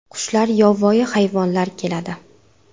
Qushlar, yovvoyi hayvonlar keladi.